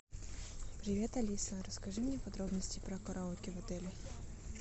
привет алиса расскажи мне подробности про караоке в отеле